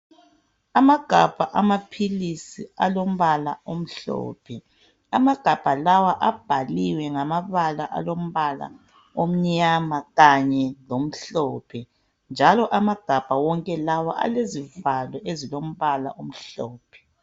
Amagabha amaphilisi alombala omhlophe amagabha lawa abhaliwe ngamabala alombala omnyama kanye lomhlophe njalo amagabha wonke lawa alezivalo ezilombala azimhlophe.